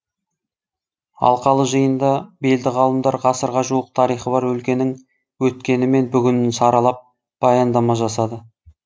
алқалы жиында белді ғалымдар ғасырға жуық тарихы бар өлкенің өткені мен бүгінін саралап баяндама жасады